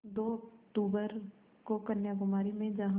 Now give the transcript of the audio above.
दो अक्तूबर को कन्याकुमारी में जहाँ